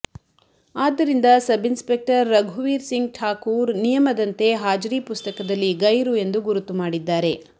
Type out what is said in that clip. ಆದ್ದರಿಂದ ಸಬ್ಇನ್ಸಪೆಕ್ಟರ್ ರಘುವೀರ್ ಸಿಂಗ್ ಠಾಕೂರ್ ನಿಯಮದಂತೆ ಹಾಜರಿ ಪುಸ್ತಕದಲ್ಲಿ ಗೈರು ಎಂದು ಗುರುತು ಮಾಡಿದ್ದಾರೆ